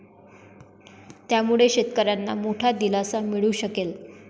त्यामुळे शेतकऱ्यांना मोठा दिलासा मिळू शकेल.